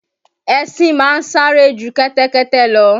Ẹṣin ma ń sáré ju kẹ́tẹ́kẹ́tẹ́ lọ.